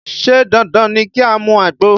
Ṣé dandan ni ki a mu àgbo?